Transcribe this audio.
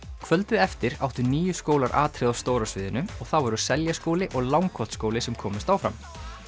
kvöldið eftir áttu níu skólar atriði á stóra sviðinu og það voru Seljaskóli og Langholtsskóli sem komust áfram